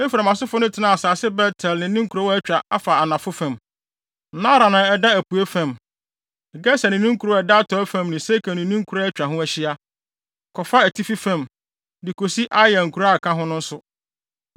Efraim asefo no tenaa asase Bet-El ne ne nkurow a atwa afa anafo fam, Naaran a ɛda apuei fam, Geser ne ne nkuraa a ɛda atɔe fam ne Sekem ne ne nkuraa a atwa ho ahyia, kɔfa atifi fam, de kosi Aya a nkuraa ka ho no so.